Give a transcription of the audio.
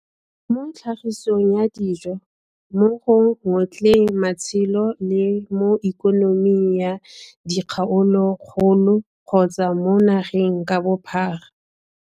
Mo tlhagisong ya dijo, mo go ngotleng matshelo le mo Ikoniming ya dikgaolokgolo kgotsa mo nageng ka bophara.